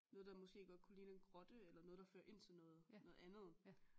Noget der måske godt kunne ligne en grotte eller noget der fører ind til noget noget andet